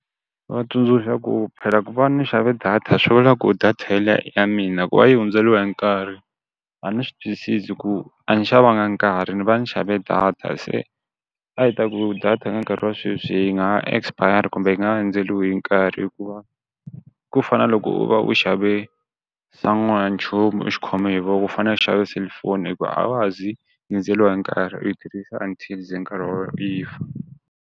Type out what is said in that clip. Va tsundzuxa ku phela ku va ni xave data swivula ku data ye liya i ya mina ku va yi hundzeliwa hi nkarhi, a ndzi swi twisisi ku a ni xavanga nkarhi ndzi va ndzi xave data se a hi ta ku data ka nkarhi wa sweswi yi nga ha expire kumbe yi nga ha hundzeriwi hi nkarhi, hikuva ku fa na loko u va u xave san'wanchumu u xi khome hi voko ku fana u xave selufoni hi ku a wa ha zi yi hundzeliwa hi nkarhi u yi tirhisa until ze nkarhi yi fa.